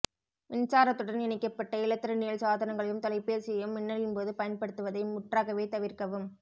மின்சாரத்துடன் இணைக்கப்பட்ட இலத்திரனியல் சாதனங்களையும் தொலைபேசியையும் மின்னலின்போது பயன்படுத்துவதை முற்றாகவே தவிர்க்கவும்